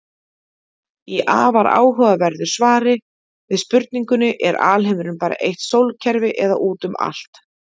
Í afar áhugaverðu svari við spurningunni Er alheimurinn bara eitt sólkerfi eða út um allt?